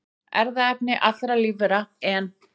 Erfðaefni allra lífvera, en